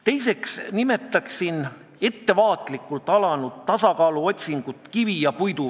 Teiseks nimetaksin ettevaatlikult alanud kivi ja puidu vahelise tasakaalu otsingut.